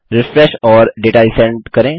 refresh और data resend करें